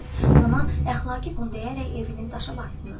Ona əxlaqi bunu deyərək evini daşa basdınız.